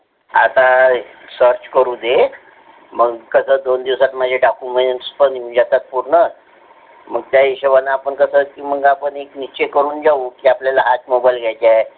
मला आता सर्च करू दे. मंग कस दोन दिवसात document पण एकच होईन. मग कसं त्याच हिशोब आपण निश्चय करून घेऊ की हाच mobile घ्यायच आहे.